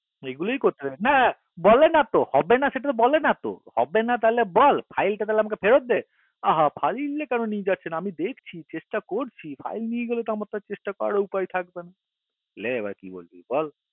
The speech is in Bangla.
এগুলোই করতে থাকো হা বলে নাতো সেটা হবে না বলে নাতো বলে নাতো বল file টা তাহলে আমাকে ফেরৎ দে আ হা file গুলো কেন নিয়ে যাচ্ছেন আমি দেখছি চেষ্টা করছি file টা নিয়ে গেলে তো আমার আর চেষ্টা করার কেনো উপায় থাকবে না লে এবার কি করবি বল